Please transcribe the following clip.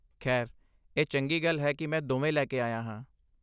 ਖੈਰ, ਇਹ ਚੰਗੀ ਗੱਲ ਹੈ ਕਿ ਮੈਂ ਦੋਵੇਂ ਲੈ ਕੇ ਆਇਆ ਹਾਂ।